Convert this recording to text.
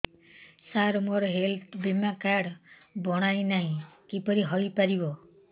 ସାର ମୋର ହେଲ୍ଥ ବୀମା କାର୍ଡ ବଣାଇନାହିଁ କିପରି ହୈ ପାରିବ